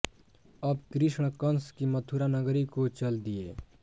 अब कृष्ण कंस की मथुरा नगरी को चल दिए